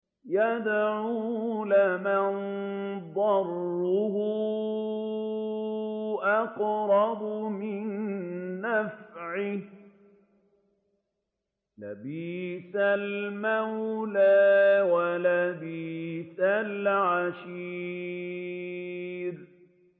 يَدْعُو لَمَن ضَرُّهُ أَقْرَبُ مِن نَّفْعِهِ ۚ لَبِئْسَ الْمَوْلَىٰ وَلَبِئْسَ الْعَشِيرُ